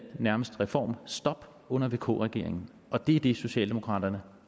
nærmest reformstop under vk regeringen og det er det socialdemokraterne